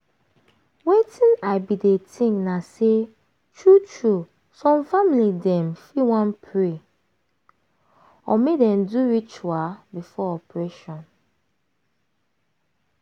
wetin i bin dey think na say true true some family dem fit wan pray (rest small) or make dem do ritual before operation.